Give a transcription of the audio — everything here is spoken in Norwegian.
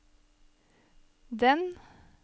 den